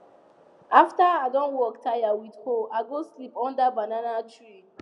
after i don work tire with hoe i go sleep under banana tree